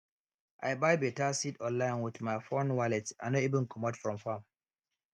i buy beta seed online with my phone wallet i no even comot from farm